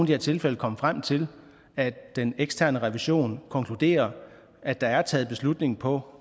her tilfælde komme frem til at den eksterne revision konkluderer at der er taget beslutning på